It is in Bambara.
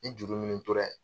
Ni juru minnu tora yen